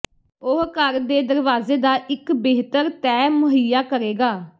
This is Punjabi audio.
ਉਹ ਘਰ ਦੇ ਦਰਵਾਜ਼ੇ ਦਾ ਇੱਕ ਬਿਹਤਰ ਤੈਅ ਮੁਹੱਈਆ ਕਰੇਗਾ